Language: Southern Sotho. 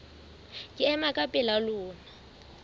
ke ema ka pela lona